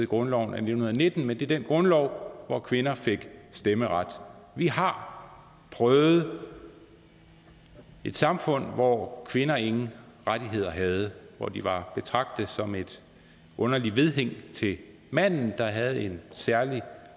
grundloven af nitten nitten men det er den grundlov hvor kvinder fik stemmeret vi har prøvet et samfund hvor kvinder ingen rettigheder havde hvor de var betragtet som et underligt vedhæng til manden der havde en særlig